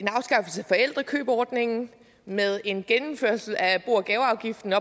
forældrekøbordningen med en gennemførelse af at få bo og gaveafgiften